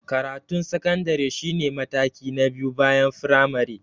Karatun sakandare shi ne mataki na biyu bayan firamare.